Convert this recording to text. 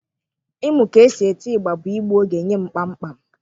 Ịmụ ka e si eti ịgba bụ igbu oge nye m kpamkpam.